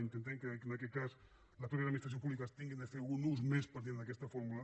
intentem que en aquest cas les mateixes administracions públiques hagin de fer un ús més partint d’aquesta fórmula